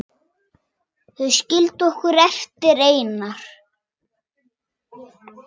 Þeir skildu okkur eftir einar.